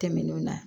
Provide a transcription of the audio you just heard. Tɛmɛnenw na